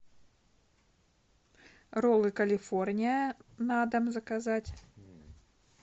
роллы калифорния на дом заказать